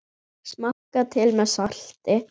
Smakkað til með salti.